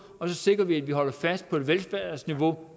og så sikrer vi bliver holdt fast på et velfærdsniveau